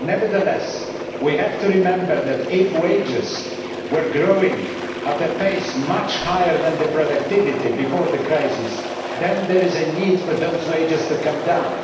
Nevertheless, we have to remember that if wages were growing at a pace much higher than productivity before the crisis, then there is a need for those wages to come down.